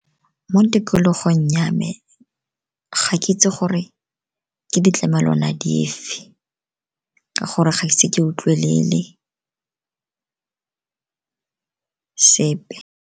Mo tikologong ya me, ga ke itse gore ke ditlamelwana di fe ka gore ga ise ke utlwelele sepe.